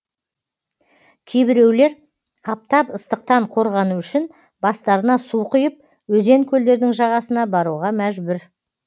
кейбіреулер аптап ыстықтан қорғану үшін бастарына су құйып өзен көлдердің жағасына баруға мәжбүр